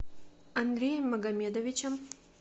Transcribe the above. андреем магомедовичем